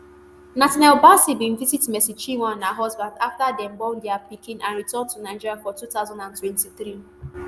nathaniel bassey bin visit mercy chinwo and her husband afta dem born dia pikin and return to nigeria for two thousand and twenty-three